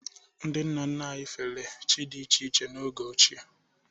Ndị nna nna anyị fere chi dị iche iche n’oge ochie.